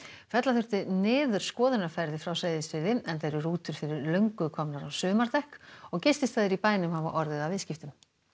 fella þurfti niður skoðunarferðir frá Seyðisfirði enda eru rútur fyrir löngu komnar á sumardekk og gististaðir í bænum hafa orðið af viðskiptum